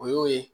O y'o ye